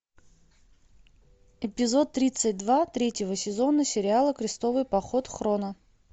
эпизод тридцать два третьего сезона сериала крестовый поход хроно